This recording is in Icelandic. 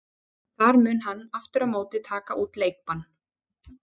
Þar mun hann aftur á móti taka út leikbann.